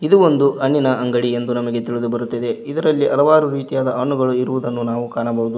ಇದು ಒಂದು ಹಣ್ಣಿನ ಅಂಗಡಿ ಎಂದು ನಮಗೆ ತಿಳಿದು ಬರುತ್ತದೆ ಇದರಲ್ಲಿ ಹಲವಾರು ರೀತಿಯ ಹಣ್ಣುಗಳನ್ನು ಇರುವುದನ್ನು ನಾವು ಕಾಣಬಹುದು.